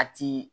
A ti